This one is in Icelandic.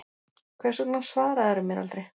Hvers vegna svaraðirðu mér aldrei?